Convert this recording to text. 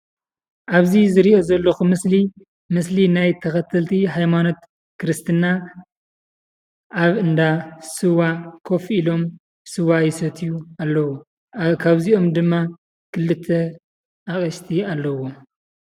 ኣብዚ ዝሪኦ ዘለኩ ምስሊ ምስሊ ናይ ተከተልቲ እምነት ሃይማኖት ክርስትና ኣብ እንዳ ስዋ ኮፍ ኢሎም ስዋ ይሰትዩ ኣለው። ካብዚኦም ክልተ ኣቅሽቲ ኣለው።